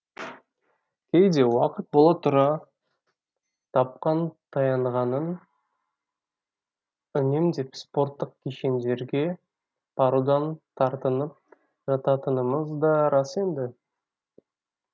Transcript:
кейде уақыт бола тұра тапқан таянғанын үнемдеп спорттық кешендерге барудан тартынып жататынымыз да рас енді